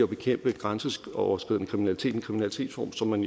bekæmpe grænseoverskridende kriminalitet en kriminalitetsform som man